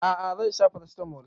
A'a zan sha paracetamol